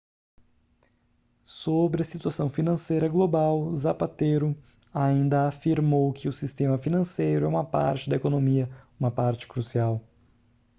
sobre a situação financeira global zapatero ainda afirmou que o sistema financeiro é uma parte da economia uma parte crucial